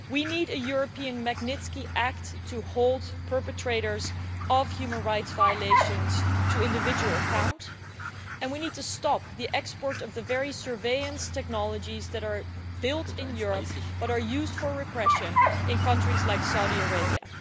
We need a European Magnitsky Act to hold perpetrators of human rights violations to account individually, and we need to stop the export of the very surveillance technologies, built in Europe, which are used for repression in countries like Saudi Arabia.